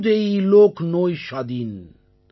கிச்சுதேயி லோக் நோய் ஷாதீன்